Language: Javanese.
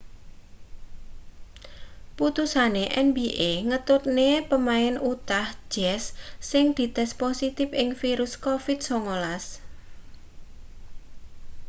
putusane nba ngetutne pemain utah jazz sing dites positip ing virus covid-19